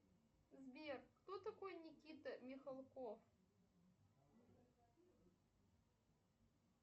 сбер кто такой никита михалков